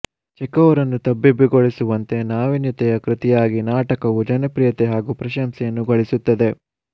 Chekhov ರನ್ನು ತಬ್ಬಿಬ್ಬುಗೊಳಿಸುವಂತೆ ನಾವೀನ್ಯತೆಯ ಕೃತಿಯಾಗಿ ನಾಟಕವು ಜನಪ್ರಿಯತೆ ಹಾಗೂ ಪ್ರಶಂಸೆಯನ್ನು ಗಳಿಸುತ್ತದೆ